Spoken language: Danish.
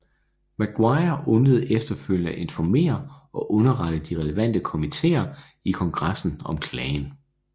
Maguire undlod efterfølgende at informere og underrette de relevante komitéer i kongressen om klagen